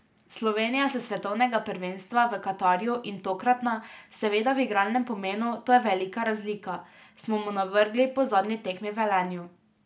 Slovenija s svetovnega prvenstva v Katarju in tokratna, seveda v igralnem pomenu, to je velika razlika, smo mu navrgli po zadnji tekmi v Velenju.